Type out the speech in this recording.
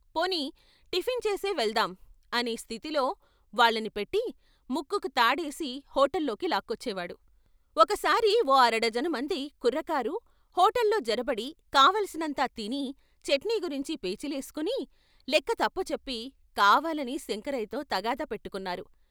"పోనీ టిఫిన్చేసే వెల్దాం" అనే స్థితిలో వాళ్ళని పెట్టి ముక్కుకు తాడేసి హోటల్లోకి లాక్కొచ్చే వాడు, ఒకసారి ఓ అరడజను మంది కుర్రకారు హోటల్లో జొరబడి కావలసినంత తిని చట్నీగురించి పేచీలేసుకుని, లెక్క తప్పుచెప్పి కావాలని శంకరయ్యతో తగాదా పెట్టుకొన్నారు.